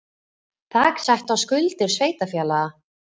Þak sett á skuldir sveitarfélaga